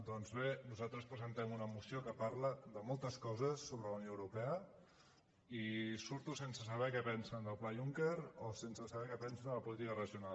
doncs bé nosaltres presentem una moció que parla de moltes coses sobre la unió europea i surto sense saber què pensen del pla juncker o sense saber què pensen de la política regional